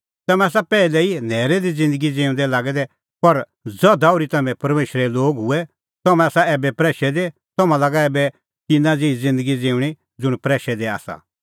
तम्हैं तै पैहलै न्हैरै दी ज़िन्दगी ज़िऊंदै लागै दै पर ज़धा ओर्ही तम्हैं परमेशरे लोग हुऐ तम्हैं आसा ऐबै प्रैशै दी तम्हां लागा ऐबै तिन्नां ज़ेही ज़िन्दगी ज़िऊंणीं ज़ुंण प्रैशे आसा